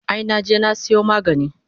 Ai naje na sayo magani